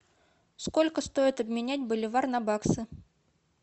сколько стоит обменять боливар на баксы